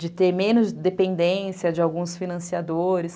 De ter menos dependência de alguns financiadores.